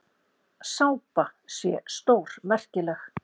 Sápa sé stórmerkileg.